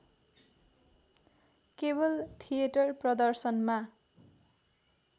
केवल थिएटर प्रदर्शनमा